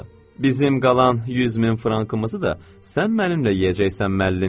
Bizim qalan 100 min frankımızı da sən mənimlə yeyəcəksən, müəllimim.